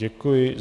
Děkuji.